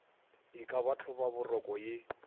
e ka ba hlobaboroko ye